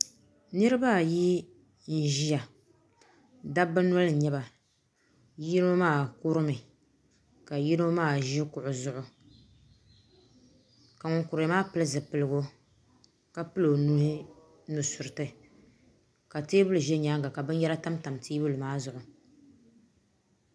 Nirabaayi n ʒiya dabba noli n nyɛba yino maa kurimi ka yino maa ʒi kuɣu zuɣu ka ŋun kuriya maa pili zipiligu ka pili o nuhi nusuriti ka teebuli ʒɛ nyaanga ka binyɛra tamtam teebuli maa zuɣu